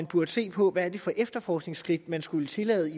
burde se på hvad det er for efterforskningsskridt man skulle tillade